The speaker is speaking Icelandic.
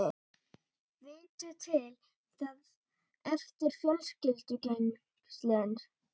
Vittu til, það eflir fjölskyldutengslin.